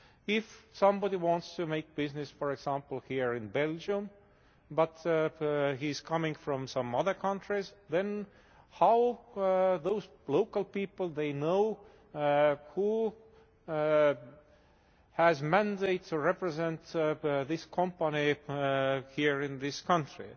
If somebody wants to make business for example here in Belgium, but he is coming from some other countries, then how those local people they know who has mandate to represent this company here in this country?